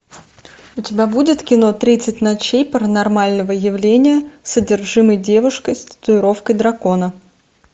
у тебя будет кино тридцать ночей паранормального явления с одержимой девушкой с татуировкой дракона